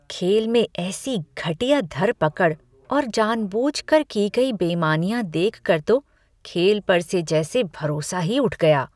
खेल में ऐसी घटिया धर पकड़ और जानबूझकर की गई बेईमानियां देख कर तो खेल पर से जैसे भरोसा ही उठ गया।